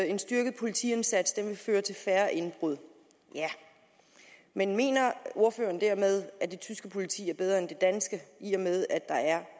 en styrket politiindsats vil føre til færre indbrud ja men mener ordføreren dermed at det tyske politi er bedre end det danske i og med at der er